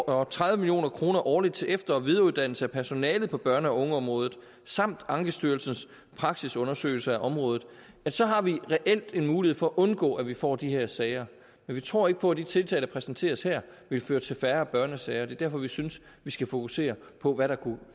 og tredive million kroner årligt til efter og videreuddannelse af personale på børne og ungeområdet samt ankestyrelsens praksisundersøgelse af området så har vi reelt en mulighed for at undgå at vi får de her sager men vi tror ikke på at de tiltag der præsenteres her vil føre til færre børnesager og det er derfor vi synes vi skal fokusere på hvad der kunne